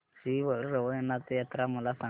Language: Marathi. श्री रवळनाथ यात्रा मला सांग